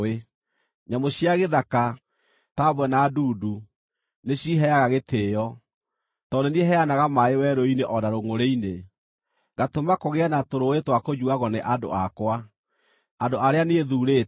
Nyamũ cia gĩthaka, ta mbwe na ndundu, nĩciiheaga gĩtĩĩo, tondũ nĩ niĩ heanaga maaĩ werũ-inĩ o na rũngʼũrĩ-inĩ, ngatũma kũgĩe na tũrũũĩ twa kũnyuuagwo nĩ andũ akwa, andũ arĩa niĩ thuurĩte,